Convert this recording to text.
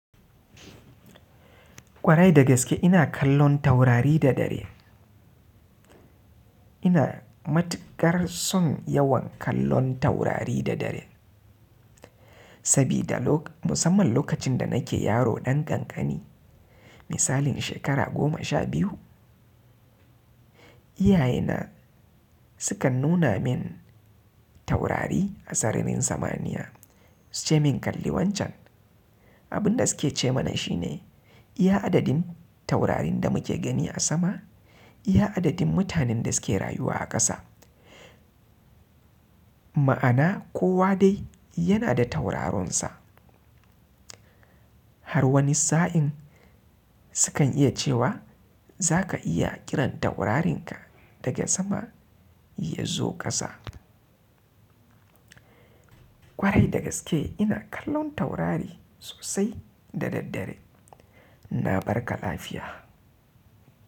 Kwarai da gaske ina kallon taurari da dare. Ina matukar son yawan kallon taurari da dare, sabida musamman lokacin da nake yaro ɗan kankani misalin shekara goma sha biyu, iyayena sukan nuna min taurari a sararin samaniya suce min kalli wancan. Abun da suke ce mana shine iya adadin taurarin da muke gani a sama, iya adadin mutanen da suke rayuwa a ƙasa. Ma'ana kowa dai yana da tauraronsa. Har wani sa'in sukan iya cewa zaka iya kiran taurarin ka daga sama yazo kasa. Kwarai da gaske ina kallon taurari sosai da daddare. Na barka lafiya.